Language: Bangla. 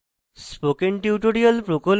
spoken tutorial প্রকল্প the